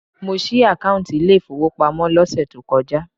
Mo ṣí àkáùntì ilé ìfowópamọ́ lọ́sẹ̀ tó kọjá.